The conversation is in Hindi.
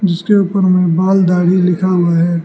जिसके उपर मे बाल दाढ़ी लिखा हुआ है।